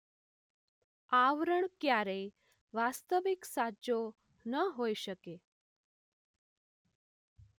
આવરણ ક્યારેય વાસ્તવિક સાચો ન હોઈ શકે